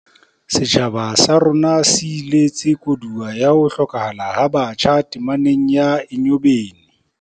Setjhaba sa rona se iletse koduwa ya ho hlokahala ha batjha tameneng ya Enyobeni.